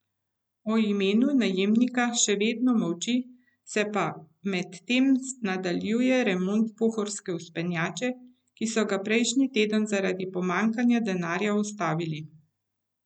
O imenu najemnika še vedno molči, se pa medtem nadaljuje remont Pohorske vzpenjače, ki so ga prejšnji teden zaradi pomanjkanja denarja ustavili.